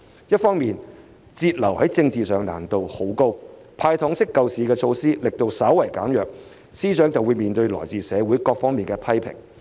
一方面，節流在政治層面上難度很高，"派糖式"救市措施的力度稍為減弱，司長便要面對來自社會各界的批評。